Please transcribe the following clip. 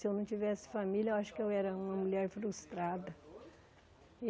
Se eu não tivesse família, eu acho que eu era uma mulher frustrada.